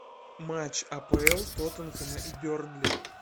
матч апл тоттенхэма и бернли